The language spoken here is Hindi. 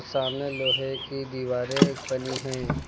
सामने लोहे की दीवारें बनी हैं।